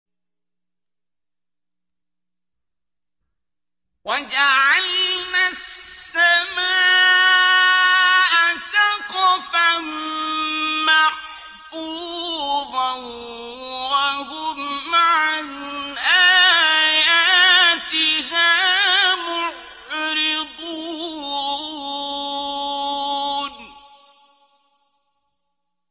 وَجَعَلْنَا السَّمَاءَ سَقْفًا مَّحْفُوظًا ۖ وَهُمْ عَنْ آيَاتِهَا مُعْرِضُونَ